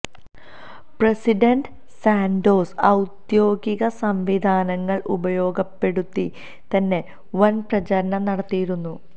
president Santos ഔദ്യോഗിക സംവിധാനങ്ങള് ഉപയോഗപ്പെടുത്തി തന്നെ വന് പ്രചാരണം നടത്തിയിരുന്നു